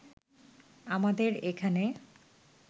আমাদের এখানে